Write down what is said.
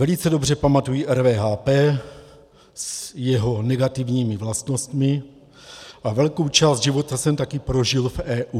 Velice dobře pamatuji RVHP s jejími negativními vlastnostmi a velkou část života jsem taky prožil v EU.